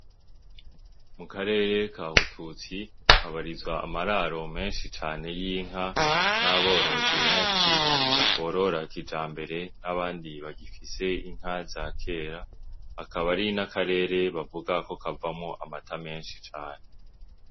Mu karere ka Bututsi kabarizwamwo amararo menshi y' inka n' aborozi benshi borora kijambere n' abandi bagifise inka za kera akaba ari n' akarere bakivuga ko